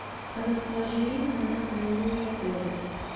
расположение камеры хранения в отеле